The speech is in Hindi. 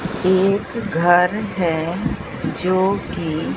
एक घर है जो की--